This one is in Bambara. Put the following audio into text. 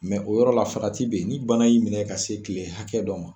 o yɔrɔ la farati bɛ yen, ni bana y'i minɛ ka se kile hakɛ dɔ ma.